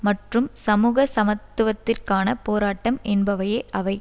மற்றும் சமூக சமத்துவத்திற்கான போராட்டம் என்பவையே அவை